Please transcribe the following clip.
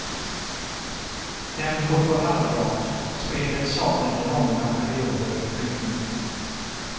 Tempot var halvdant och spelet saknade långa perioder rytm.